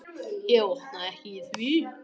Ég botna ekki í því.